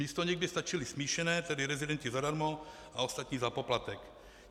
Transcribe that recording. Místo nich by stačili smíšené, tedy rezidenti zadarmo a ostatní za poplatek.